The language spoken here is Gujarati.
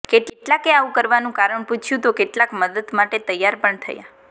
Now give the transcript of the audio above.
કેટલાકે આવુ કરવાનુ કારણ પુછ્યુ તો કેટલાક મદદ માટે તૈયાર પણ થયા